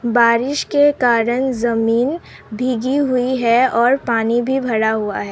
बारिश के कारण जमीन भीगी हुई है और पानी भी भरा हुआ है।